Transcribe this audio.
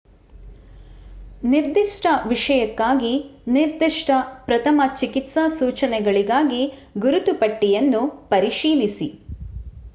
ನಿರ್ದಿಷ್ಟ ವಿಷಕ್ಕಾಗಿ ನಿರ್ದಿಷ್ಟ ಪ್ರಥಮ ಚಿಕಿತ್ಸಾ ಸೂಚನೆಗಳಿಗಾಗಿ ಗುರುತು ಪಟ್ಟಿ ಯನ್ನು ಪರಿಶೀಲಿಸಿ